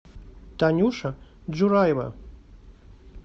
танюша джураева